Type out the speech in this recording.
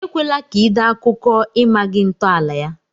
Ekwela ka ị dee akụkọ i maghị ntọala ya!